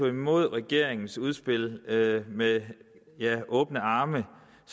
imod regeringens udspil med åbne arme